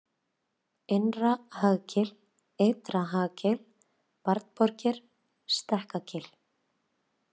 Innra-Hagagil, Ytra-Hagagil, Barnaborgir, Stekkagil